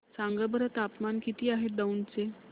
सांगा बरं तापमान किती आहे दौंड चे